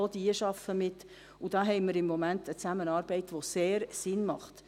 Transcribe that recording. Auch diese arbeiten mit, und da haben wir im Moment eine Zusammenarbeit, die sehr Sinn macht.